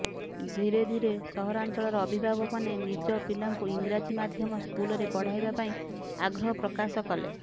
ଧୀରେ ଧୀରେ ସହରାଞ୍ଚଳର ଅଭିଭାବକମାନେ ନଜ ପିଲାଙ୍କୁ ଇଂରାଜି ମାଧ୍ୟମ ସ୍କୁଲରେ ପଢାଇବା ପାଇଁ ଆଗ୍ରହ ପ୍ରକାଶ କଲେ